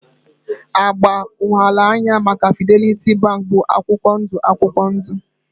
Agba ụghalaahịa maka Fidelity Bank bụ akwụkwọ ndụ akwụkwọ ndụ